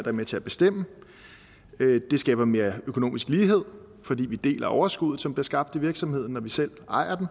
er med til at bestemme det skaber mere økonomisk lighed fordi vi deler overskuddet som bliver skabt i virksomheden når vi selv ejer den